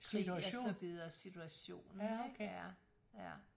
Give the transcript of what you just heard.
Krig og så videre situation ikke ja ja